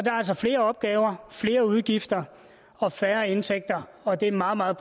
er altså flere opgaver flere udgifter og færre indtægter og det er en meget meget